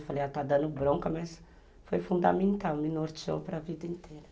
Eu falei, ela está dando bronca, mas foi fundamental, me norteou para a vida inteira.